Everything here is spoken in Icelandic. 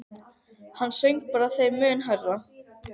Hann söng bara þeim mun hærra.